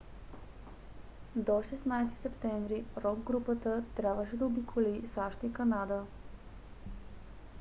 до 16 септември рок групата трябваше да обиколи сащ и канада